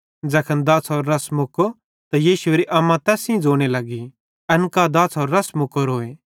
ज़ैखन दाछ़ेरो रस मुक्को त यीशुएरी अम्मा तैस सेइं लगी ज़ोने एन कां दाछ़ेरो रस मुक्कोरूए